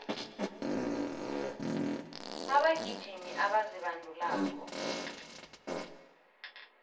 abagijimi abazibandulako